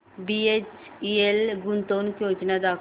BHEL गुंतवणूक योजना दाखव